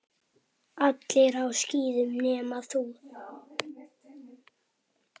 Allir á skíðum nema þú.